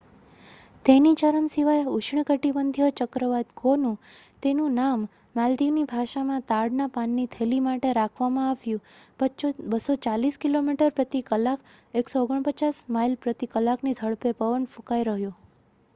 તેની ચરમસીમાએ ઉષ્ણકટિબંધીય ચક્રવાત ગોનુ જેનું નામ માલદીવની ભાષામાં તાડના પાનની થેલી માટે રાખવામાં આવ્યું 240 કિલોમીટર પ્રતિ કલાક 149 માઇલ પ્રતિ કલાકની ઝડપે પવન ફૂંકાઈ રહ્યો